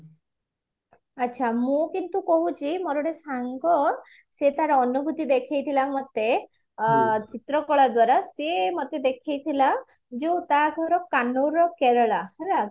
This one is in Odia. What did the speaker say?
ଆଚ୍ଛା ମୁଁ କିନ୍ତୁ କହୁଛି ମୋର ଗୋଟେ ସାଙ୍ଗ ସେ ତାର ଅନୁଭୂତି ଦେଖେଇଥିଲା ମତେ ଚିତ୍ରକଳା ଦ୍ଵାରା ସେ ମତେ ଦେଖେଇଥିଲା ଯୋଉ ତ ଘର କେରଳା ହେଲା